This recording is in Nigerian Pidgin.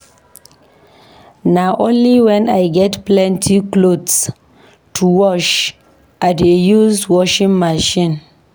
Na only wen I get plenty cloths to wash I dey use washing machine.